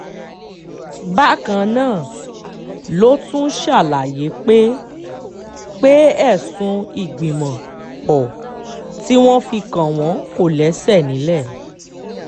bákan náà ló tún ṣàlàyé pé pé ẹ̀sùn ìgbìmọ̀-pọ̀ tí wọ́n fi kàn wọ́n kò lẹ́sẹ̀ nílẹ̀